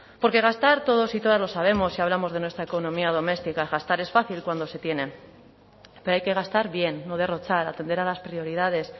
porque gastar todos y todas lo sabemos si hablamos de nuestra economía doméstica gastar es fácil cuando se tiene pero hay que gastar bien no derrochar atender a las prioridades